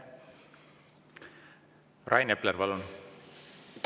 Rain Epler, palun!